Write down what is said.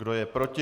Kdo je proti?